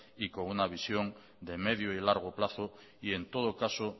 y con una visión de medio y largo plazo y en todo caso